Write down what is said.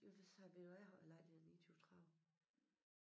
Jo det sagde jeg ved du hvad jeg har æ lejlighed 29 30